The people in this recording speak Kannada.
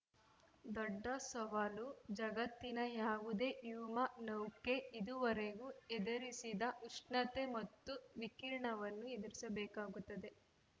ದೊಡ್ಡ ಸವಾಲು ಜಗತ್ತಿನ ಯಾವುದೇ ವ್ಯೊಮ ನೌಕೆ ಇದುವರೆಗೂ ಎದುರಿಸದ ಉಷ್ಣತೆ ಮತ್ತು ವಿಕಿರಣವನ್ನು ಎದುರಿಸಬೇಕಾಗುತ್ತದೆ